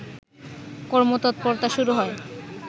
কর্মতৎপরতা শুরু হয়